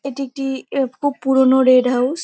এটি একটি -ই খুব পুরনো রেড হাউস ।